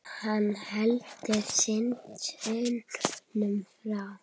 Hann heldur synd unum frá.